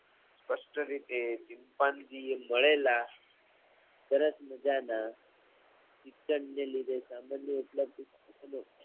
સ્પષ્ટરીતે ચિંપાંજીએ મળેલા સરસ મજાનાં તેમને લીધે સબંધો ઉપલબ્ધ